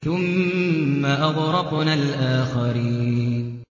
ثُمَّ أَغْرَقْنَا الْآخَرِينَ